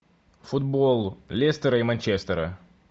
футбол лестера и манчестера